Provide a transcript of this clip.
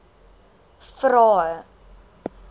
vvvvrae